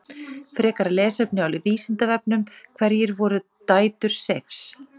Frekara lesefni á Vísindavefnum: Hverjar voru dætur Seifs?